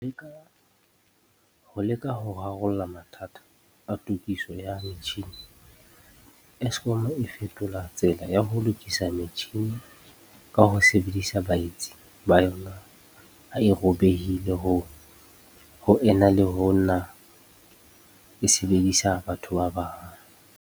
Ho leka ho rarolla mathata a tokiso ya metjhini, Eskom e fetola tsela ya ho lokisa metjhini ka ho sebedisa baetsi ba yona ha e robehile ho ena le ho nna e sebedisa batho ba bang.